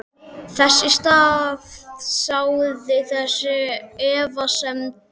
Þess í stað sáði þetta efasemdum.